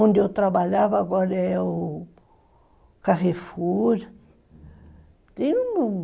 Onde eu trabalhava agora é o Carrefour.